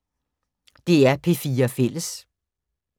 DR P4 Fælles